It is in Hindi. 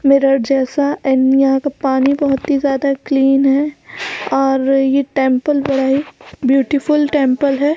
मेरड जैसा एंड यहाँ का पानी बहुत ही ज्यादा क्लीन है और ये टेम्पल बड़ा ही ब्यूटीफुल टेम्पल हैं ।